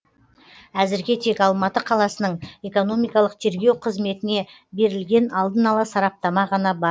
әзірге тек алматы қаласының экономикалық тергеу қызметіне берілген алдын ала сараптама ғана бар